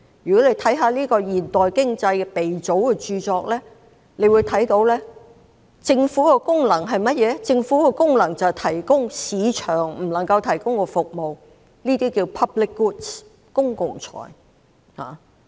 如果閱讀過這位現代經濟鼻祖的著作，會知悉政府的功能，是提供市場不能夠提供的服務，即公共產品。